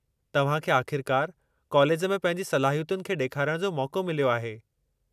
तव्हां खे आख़िरकारु कालेज में पंहिंजी सलाहियतुनि खे ॾेखारण जो मौक़ो मिलियो आहे।